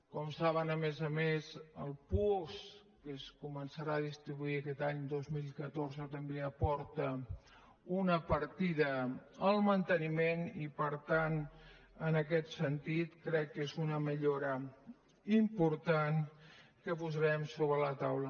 com saben a més a més el puosc que es començarà a distribuir aquest any dos mil catorze també aporta una partida al manteniment i per tant en aquest sentit crec que és una millora important que posarem sobre la taula